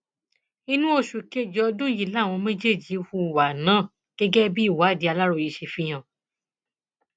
inú oṣù kejì ọdún yìí làwọn méjèèjì hùwà náà gẹgẹ bí ìwádìí aláròye ṣe fi hàn